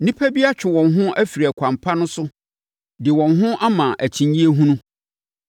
Nnipa bi atwe wɔn ho afiri ɛkwan pa no so de wɔn ho ama akyinnyeɛ hunu.